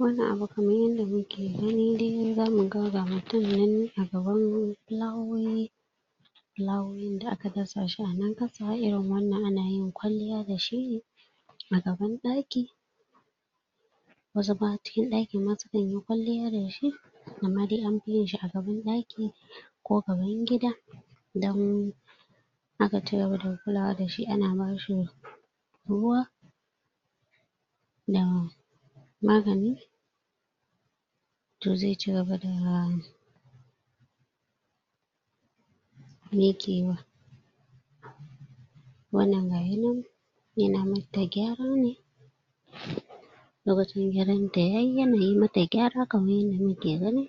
wannan abu kamar yanda muke gani dai zaku mutum nan a gaban fulawoyi fulawoyin da aka dasa shi a na ƙasa, irin wannan ana yin kwalliya dashi ne a gaban ɗaki wasu ma a cikin ɗakin ma sukanyi kwalliya dashi amma dai anfi yinshi a gaban ɗaki ko gaban gida idan aka tayar da fulawa dashi ana bashi rr ruwa da magani to ze ci gaba da mikewa wannan gayi nan yana mata gyara ne um lokacin gyaranta yayi yanayi mata gyara kamar yadda muke gani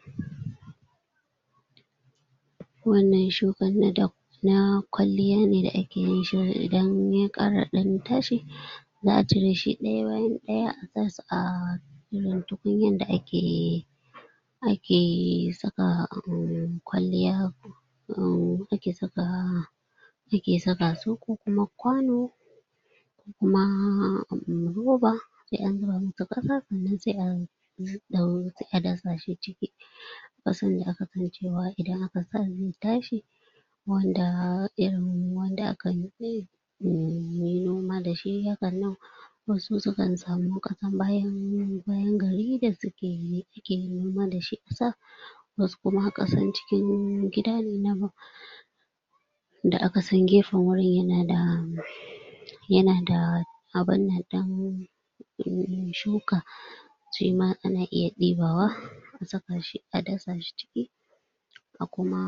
wannan shukan na da na kwalliya ne da ake yinsa dan idan ya ƙara ɗan tashi za'a cireshi ɗaya bayan ɗaya a sashi ahh irin tukunyan da ake ake saka um kwalliyan abu um ake saka ake sakasu ko kuma kwano ko kuma abu me roba se an zuba musu kasa sannan se a ɗau a dasa shi ciki kasan da aka san cewa idan aka sa shi ze tashi wanda irin wanda aka ga ze, iya muyi noma dashi hakannan wasu sukan sami kasar bayan.. bayan gari da suke suke noma dashi shi kusa wasu kuma kasan cikin gida ne na ba da akasan gefen wurin yana da yana da abinnan ɗin uh uh shuka shima ana iya ɗibawa a sakashi, a dasa shi ciki a kuma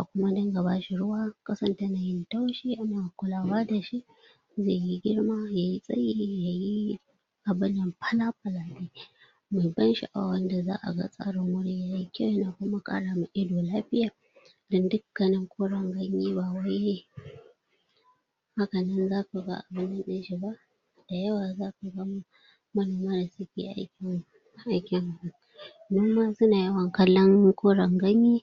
a kuma ringa bashi ruwa kasan tanayin taushi ana kulawa dashi saboda yayi girma, yayi tsayi yayi abinnan fala-fala me ban sha'awa wanda za'a ga tsarin wajen yayi kyau yana kuma karawa ido lafiya don dukannin koran ganye bawai hakannan zakaga a ɗin shi ba da yawa zakaga manoma da suke aikin aikin noma suna yawan kallon koren ganye